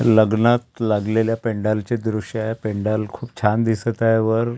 लग्नात लागलेल्या पेंडाल चे दृश्य आहे पेंडाल खूप छान दिसत आहे वर--